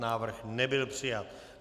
Návrh nebyl přijat.